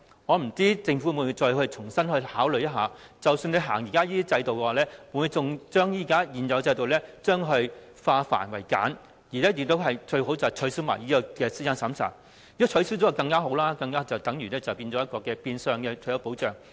我不知道政府會否重新考慮，即使繼續推行這制度，會否把現有制度化繁為簡，最好可以取消資產審查，如果可以取消便更好，因為這變相等於退休保障。